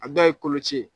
A dɔw ye koloci ye